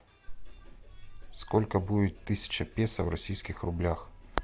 сколько будет тысяча песо в российских рублях